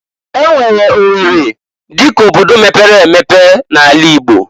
E nwere O werri dịka obodo mepere emepe na'ala Igbo.